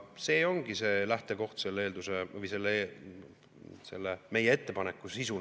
See ongi see lähtekoht, meie ettepaneku sisu.